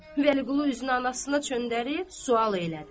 Vəliqulu üzünü anasına çöndərib, sual elədi.